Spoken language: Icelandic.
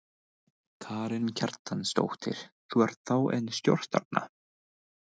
Karen Kjartansdóttir: Þú ert þá enn stórstjarna?